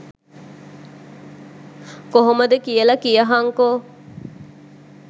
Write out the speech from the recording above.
කොහොමද කියල කියහන්කෝ.